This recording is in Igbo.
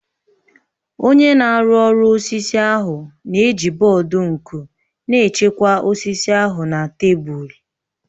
Onye na-arụ ọrụ osisi ahụ na-eji bọọdụ nku na-echekwa osisi ahụ na tebụl